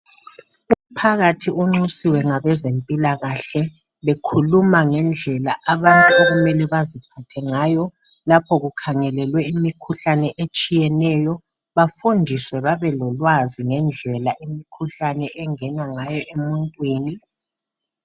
Umphakathi unxusiwe ngabezempilakahle bekhuluma ngendlela abantu okumele baziphathe ngayo lapho kukhangelelwe imikhuhlane etshiyeneyo, bafundiswe babe lolwazi ngendlela imkhuhlane engena ngayo emuntwini.